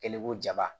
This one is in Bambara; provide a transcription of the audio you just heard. Ele ko jaba